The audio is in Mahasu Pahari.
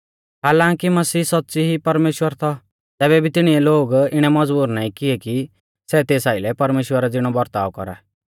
हालांकी मसीह सौच़्च़ी ई परमेश्‍वर थौ तैबै भी तिणीऐ लोग इणै मज़बूर नाईं किऐ कि सै तेस आइलै परमेश्‍वरा ज़िणौ बरताव कौरा